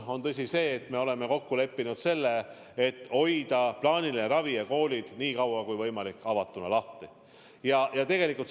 On tõsi, et me oleme kokku leppinud hoida plaaniline ravi ja koolid nii kaua kui võimalik lahti.